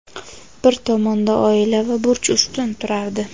bir tomonda oila va burch ustun turardi.